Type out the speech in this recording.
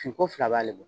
Finko fila b'ale bolo